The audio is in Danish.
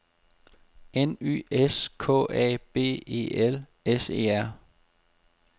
N Y S K A B E L S E R